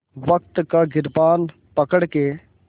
वक़्त का गिरबान पकड़ के